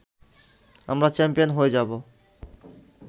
আমরা চ্যাম্পিয়ন হয়ে যাবো